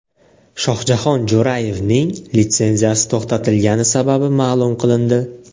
Shohjahon Jo‘rayevning litsenziyasi to‘xtatilgani sababi ma’lum qilindi.